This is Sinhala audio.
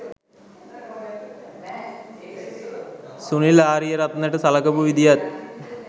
සුනිල් ආරියරත්නට සලකපු විදියත්